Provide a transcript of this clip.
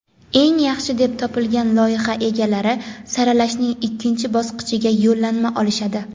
eng yaxshi deb topilgan loyiha egalari saralashning ikkinchi bosqichiga yo‘llanma olishadi.